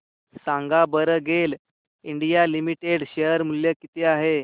सांगा बरं GAIL India limited share मूल्य किती आहे